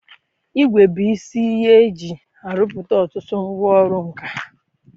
Igwè bụ isi ihe eji arụpụta ọtụtụ ngwa ọrụ nka